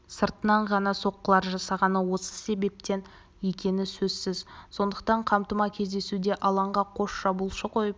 сыртынан ғана соққылар жасағаны осы себептен екені сөзсіз сондықтан қамтыма кездесуде алаңға қос шабуылшы қойып